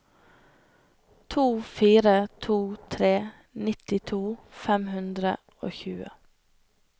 to fire to tre nittito fem hundre og tjue